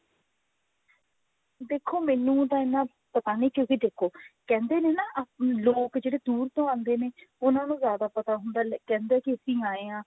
ਦੇਖੋ ਮੈਨੂੰ ਤਾਂ ਇਹਨਾਂ ਪਤਾ ਨਹੀਂ ਕਿਉਂਕਿ ਦੇਖੋ ਕਹਿੰਦੇ ਨੇ ਨਾ ਆਪਣੇ ਲੋਕ ਜਿਹੜੇ ਦੂਰ ਤੋਂ ਆਉਂਦੇ ਨੇ ਉਹਨਾਂ ਨੂੰ ਜਿਆਦਾ ਪਤਾ ਹੁੰਦਾ ਹੈ ਕਹਿੰਦੇ ਕਿ ਅਸੀਂ ਆਏ ਹਾਂ